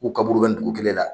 K'u kaburu bɛ dugu kelen la